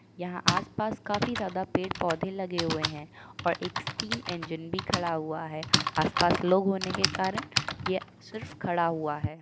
यहाँ आस पास काफी ज्यादा पेड़ पोधे लगे हुए हैं और एक स्टीम इंजन भी खड़ा हुआ है। आसपास लोग होने के कारण यह सिर्फ खड़ा हुआ है।